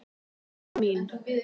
mamma mín